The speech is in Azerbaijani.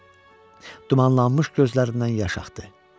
Dumanlanmış gözlərindən yaş axdı.